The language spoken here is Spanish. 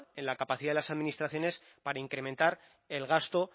en la capacidad de las administraciones para incrementar el gasto